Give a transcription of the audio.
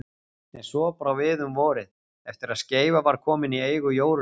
En svo brá við um vorið, eftir að Skeifa var komin í eigu Jórunnar